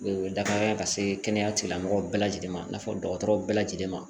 Dafa ka se kɛnɛya tigilamɔgɔw bɛɛ lajɛlen ma i n'a fɔ dɔgɔtɔrɔw bɛɛ lajɛlen ma